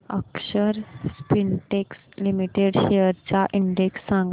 अक्षर Spintex limited shares चा index सांगा